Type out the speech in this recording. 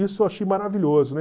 Isso eu achei maravilhoso, né?